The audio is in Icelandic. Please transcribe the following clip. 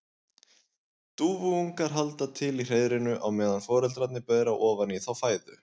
Dúfuungar halda til í hreiðrinu á meðan foreldrarnir bera ofan í þá fæðu.